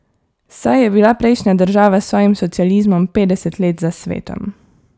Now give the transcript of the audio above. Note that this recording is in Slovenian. Saj je bila prejšnja država s svojim socializmom petdeset let za svetom.